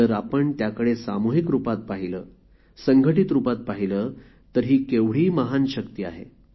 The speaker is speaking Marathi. जर आपण त्याकडे सामुहिक रुपात पाहिले संघटित रूपात पाहिले तर ही केवढी महान शक्ती आहे